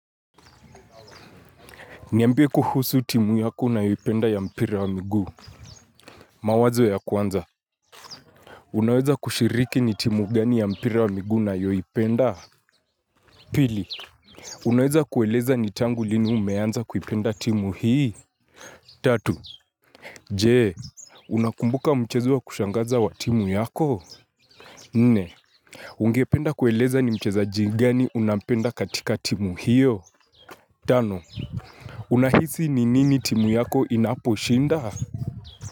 Niambie kuhusu timu yako unayoipenda ya mpira wa miguu mawazo ya kwanza unaweza kushiriki ni timu gani ya mpira wa migu unayoipenda Pili unaweza kueleza ni tangu lini umeanza kuipenda timu hii Tatu, je unakumbuka mchezo wa kushangaza wa timu yako? Nne ungependa kueleza ni mchezaji gani unapenda katika timu hiyo?? Tano, unahisi ni nini timu yako inapo shinda wa raf.